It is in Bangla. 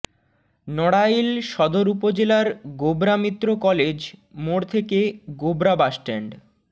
নড়াইল সদর উপজেলার গোবরা মিত্র কলেজ মোড় থেকে গোবরা বাসস্ট্যান্ড